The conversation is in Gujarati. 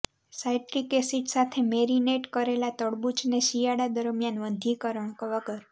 સાઇટ્રિક એસિડ સાથે મેરીનેટ કરેલા તરબૂચને શિયાળા દરમિયાન વંધ્યીકરણ વગર